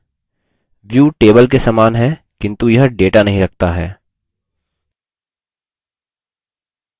view table के समान है किन्तु यह data नहीं रखता है